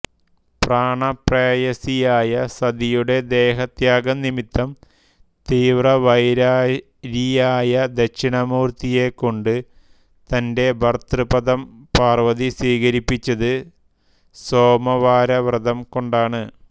പ്രാണപ്രേയസിയായ സതിയുടെ ദേഹത്യാഗം നിമിത്തം തീവ്രവൈരാരിയായ ദക്ഷിണാമൂർത്തിയെക്കൊണ്ട് തന്റെ ഭർത്തൃപദം പാർവ്വതി സ്വീകരിപ്പിച്ചത് സോമവാരവ്രതം കൊണ്ടാണ്